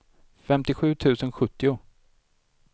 femtiosju tusen sjuttio